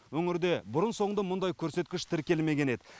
өңірде бұрын соңды мұндай көрсеткіш тіркелмеген еді